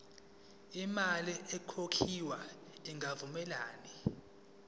imali ekhokhwayo ingavumelani